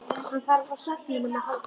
Hann þarf á svefninum að halda.